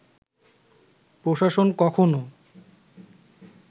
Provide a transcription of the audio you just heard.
প্রশাসন কখনো